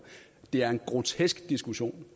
det er en grotesk diskussion